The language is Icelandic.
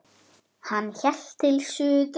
Hann hélt til suðurs.